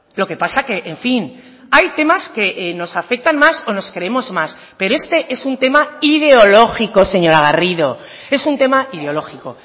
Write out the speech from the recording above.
lo que pasa que en fin hay temas que nos afectan más o nos creemos más pero este es un tema ideológico señora garrido es un tema ideológico